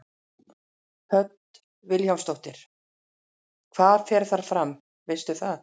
Hödd Vilhjálmsdóttir: Hvað fer þar fram, veistu það?